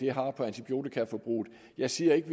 har på antibiotikaforbruget jeg siger ikke